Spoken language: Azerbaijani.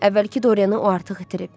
Əvvəlki Dorianı o artıq itirib.